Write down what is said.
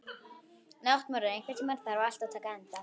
Náttmörður, einhvern tímann þarf allt að taka enda.